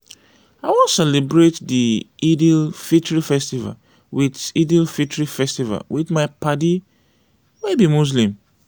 i wan celebrate di eid-el-fitri festival wit eid-el-fitri festival wit my paddy wey be muslim.